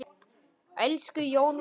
Elsku Jón minn.